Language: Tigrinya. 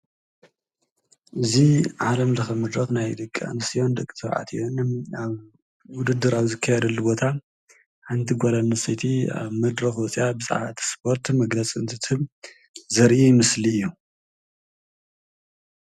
እዚ ዓለም ለኸ መድረክ ናይ ደቂ አንስትዮን ደቂ ተባዕትዮን ውድድር አብ ዝካየደሉ ቦታ ሓንቲ ጓል አንስተይቲ አብ መድረክ ወፂአ ብዛዕባ እቲ እስፖርት መግለፂ እንትትህብ ዘርኢ ምስሊ እዩ፡፡